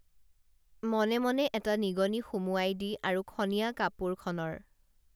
মনে মনে এটা নিগনি সুমুয়াইদি আৰু খনীয়া কাপোৰ খনৰ